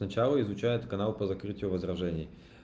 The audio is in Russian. сначала изучает канал по закрытию возражений